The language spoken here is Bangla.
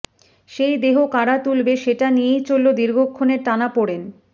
সেই দেহ কারা তুলবে সেটা নিয়েই চলল দীর্ঘক্ষণের টানাপোড়েন